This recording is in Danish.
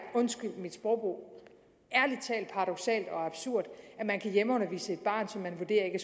undskyld mit sprogbrug paradoksalt og absurd at man kan hjemmeundervise et barn som man